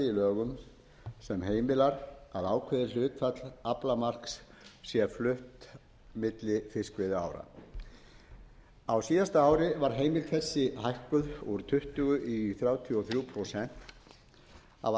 lögum sem heimilar að ákveðið hlutfall aflamarks sé flutt á milli fiskveiðiára á síðasta ári var heimild þessi hækkuð úr tuttugu prósent í þrjátíu og þrjú